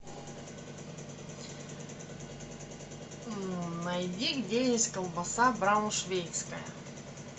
найди где есть колбаса брауншвейгская